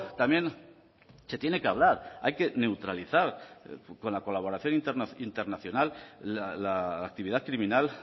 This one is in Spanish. también se tiene que hablar hay que neutralizar con la colaboración internacional la actividad criminal